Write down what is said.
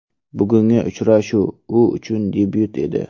Bugungi uchrashuv u uchun debyut edi.